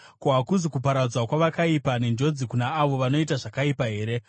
Ko, hakuzi kuparadzwa kwavakaipa, nenjodzi kuna avo vanoita zvakaipa here?